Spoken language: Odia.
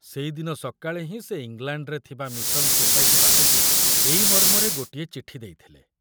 ସେଇଦିନ ସକାଳେ ହିଁ ସେ ଇଂଲାଣ୍ଡରେ ଥିବା ମିଶନ ସୋସାଇଟି ପାଖକୁ ଏଇ ମର୍ମରେ ଗୋଟିଏ ଚିଠି ଦେଇଥିଲେ।